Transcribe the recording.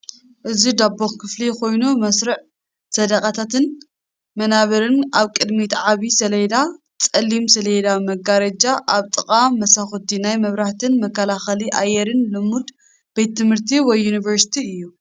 እዚ ባዶ ኽፍሊ ኮይኑ መስርዕ ሰደቓታትን መናብርን ኣብ ቅድሚት ዓብዪ ሰሌዳ ፀሊም ሰሌዳ መጋረጃ ኣብ ጥቓ መሳዅቲ ናይ መብራህትን መከላኸሊ ኣየርን ልሙድ ቤት ትምህርቲ ወይ ዩኒቨርሲቲ እዩ ።